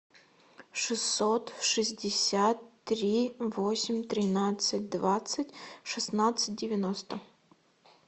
шестьсот шестьдесят три восемь тринадцать двадцать шестнадцать девяносто